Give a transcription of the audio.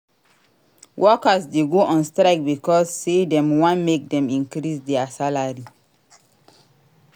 Workers de go on strike becauae say dem want make dem increase their salary